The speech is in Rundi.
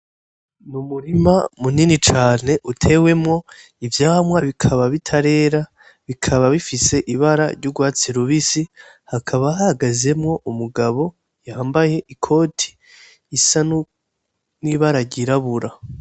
N'umurima munini cane utewemwo ivyamwa bikaba bitarera bikaba bifise ibara ry'ugwatsi rubisi hakaba hahagazemwo umugabo yambaye ikoti isa n'ibara ryirabura.